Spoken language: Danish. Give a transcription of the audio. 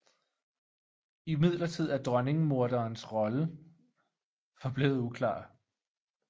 Imidlertid er dronningemoderens rolle forblevet uklar